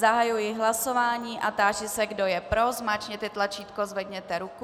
Zahajuji hlasování a táži se, kdo je pro, zmáčkněte tlačítko, zvedněte ruku.